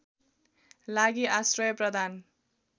लागि आश्रय प्रदान